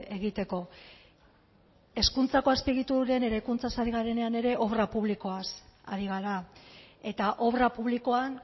egiteko hezkuntzako azpiegituren eraikuntzaz ari garenean ere obra publikoaz ari gara eta obra publikoan